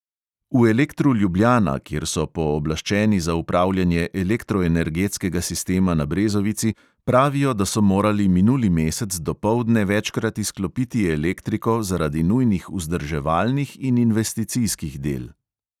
V elektru ljubljana, kjer so pooblaščeni za upravljanje elektroenergetskega sistema na brezovici, pravijo, da so morali minuli mesec dopoldne večkrat izklopiti elektriko zaradi nujnih vzdrževalnih in investicijskih del.